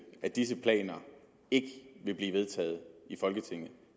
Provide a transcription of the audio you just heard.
at disse planer ikke vil blive vedtaget i folketinget